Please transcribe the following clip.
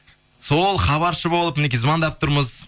сол хабаршы болып мінекей звондап тұрмыз